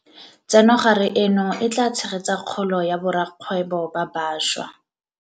Tsenogare eno e tla tshegetsa kgolo ya borakgwebo ba bašwa.